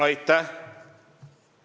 Aitäh!